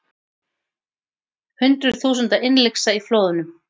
Hundruð þúsunda innlyksa í flóðunum